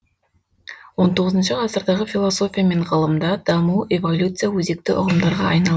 он тоғызыншы ғасырдағы философия мен ғылымда даму эволюция өзекті ұғымдарға айналды